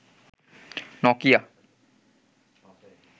Nokia